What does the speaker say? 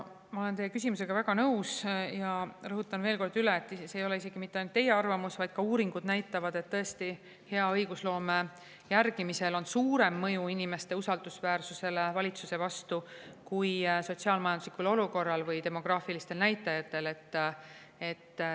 Ma olen teie küsimusega väga nõus ja rõhutan veel kord üle, et see ei ole mitte ainult teie arvamus, vaid ka uuringud näitavad, et tõesti, võimalusel poliitikakujundamisel kaasa rääkida on suurem mõju sellele, kas inimesed usaldavad valitsust, kui sotsiaal-majanduslikul olukorral või demograafilistel näitajatel.